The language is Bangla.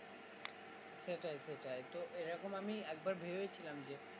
সেটাই সেটাই তো এরকম আমি একবার ভেবেছিলাম যে